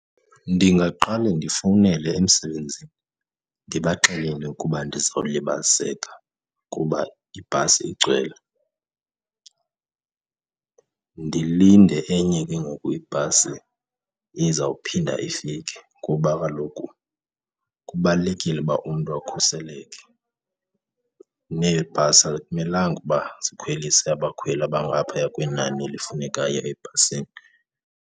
Ndingaqale ndifowunele emsebenzini ndibaxelele ukuba ndizawulibaziseka kuba ibhasi igcwele. Ndilinde enye ke ngoku ibhasi ezawuphinda ifike kuba kaloku kubalulekile uba umntu akhuseleke, neebhasi akumelanga uba zikhwelise abakhweli abangaphaya kwenani elifunekayo ebhasini.